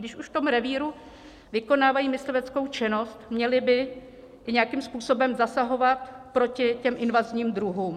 Když už v tom revíru vykonávají mysliveckou činnost, měli by nějakým způsobem zasahovat proti těm invazním druhům.